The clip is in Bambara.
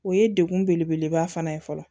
O ye dekun bele beleba fana ye fɔlɔ